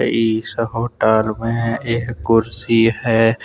इस होटल में एक कुर्सी है।